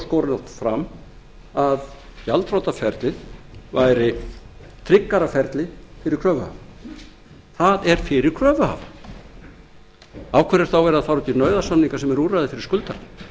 skorinort fram að gjaldþrotaferlið væri tryggara ferli fyrir kröfuhafa það er fyrir kröfuhafa af hverju er þá verið að fara út í nauðasamninga se eru úrræði fyrir skuldarana